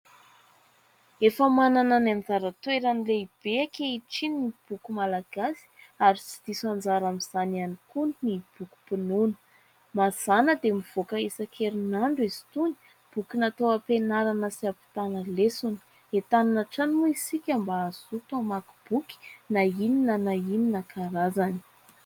Efa manana ny anjara-toerany lehibe ankehitriny ny boky Malagasy ary tsy diso anjara amin'izany ihany koa ny bokim-pinoana. Mazàna dia mivoaka isan-kerinandro izy itony ; boky natao ampianarana sy ampitàna lesona. Entanina hatrany moa isika mba hazoto hamaky boky, na inona na inona karazany.